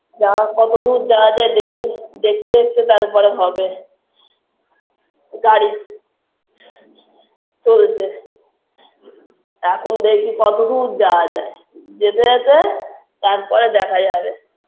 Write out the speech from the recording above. যাওয়া কতদূর যাওয়া যায় দেখি দেখতে দেখতে তারপরে হবে BREATH গাড়িচলছে BREATH এখন দেখি কতদূর যাওয়া যায় যেতে যেতে তারপরে দেখা যাবে